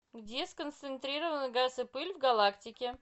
где сконцентрированы газ и пыль в галактике